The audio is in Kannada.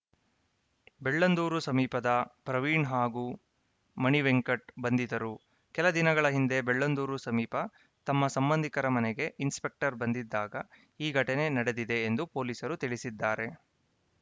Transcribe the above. ಬೆಳ್ಳಂದೂರು ಸಮೀಪದ ಪ್ರವೀಣ್‌ ಹಾಗೂ ಮಣಿ ವೆಂಕಟ್‌ ಬಂಧಿತರು ಕೆಲ ದಿನಗಳ ಹಿಂದೆ ಬೆಳ್ಳಂದೂರು ಸಮೀಪ ತಮ್ಮ ಸಂಬಂಧಿಕರ ಮನೆಗೆ ಇನ್ಸ್‌ಪೆಕ್ಟರ್‌ ಬಂದಿದ್ದಾಗ ಈ ಘಟನೆ ನಡೆದಿದೆ ಎಂದು ಪೊಲೀಸರು ತಿಳಿಸಿದ್ದಾರೆ